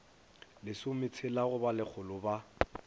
lesometshela go ba lekgolo ba